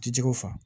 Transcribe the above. Ji jɛgɛw faga